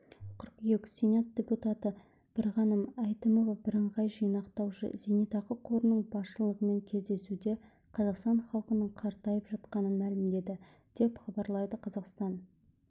қыркүйек сенат депутаты бірғаным әйтімова бірыңғай жинақтаушы зейнетақы қорының басшылығымен кездесуде қазақстан халқының қартайып жатқанын мәлімдеді деп хабарлайды қазақстан